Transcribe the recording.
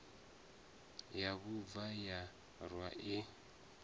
ya bvuma ya rwa i